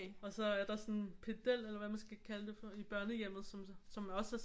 Og så er der sådan en pedel eller hvad man skal kalde det for i børnehjemmet som også er